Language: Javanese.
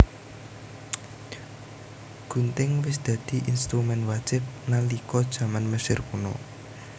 Gunting wis dadi instrumén wajib nalika jaman Mesir Kuna